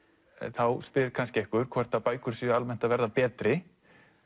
þá spyr kannski einhver hvort bækur séu almennt að verða betri